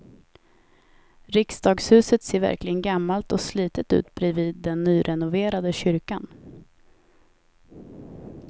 Riksdagshuset ser verkligen gammalt och slitet ut bredvid den nyrenoverade kyrkan.